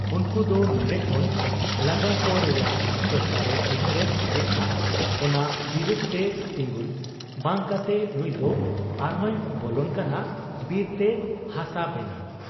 ᱩᱱᱠᱩ ᱫᱚ ᱱᱚᱱᱰᱮ ᱠᱷᱚᱱ ᱞᱟᱜᱟᱠᱚ ᱨᱮᱭᱟᱜ ᱥᱚᱨᱠᱟᱨ ᱮ ᱩᱭᱦᱟᱹᱨᱮᱫ ᱡᱮᱠᱷᱟ ᱚᱱᱟ ᱵᱤᱨᱟᱹᱫᱽ ᱛᱮ ᱛᱤᱸᱜᱩᱱ ᱵᱟᱝ ᱠᱟᱛᱮ ᱱᱩᱭᱫᱚ ᱟᱨᱦᱚᱸᱭ ᱵᱚᱞᱚᱱ ᱠᱟᱱᱟ ᱵᱤᱨᱛᱮ ᱦᱟᱥᱟ ᱵᱮᱱᱟᱶ ᱾